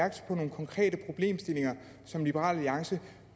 konkrete problemstillinger som liberal alliance